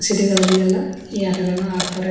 ಸಿಟಿಗಳಲ್ಲಿ ಎಲ್ಲಾ ಈ ಆಟಗಳನ್ನು ಆಡತ್ತರೆ.